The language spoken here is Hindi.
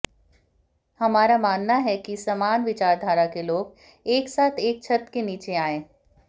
हमारा मानना है कि समान विचारधारा के लोग एक साथ एक छत के नीचे आएं